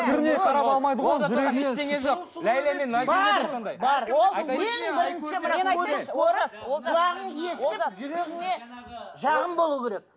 жүрегіңе жағым болу керек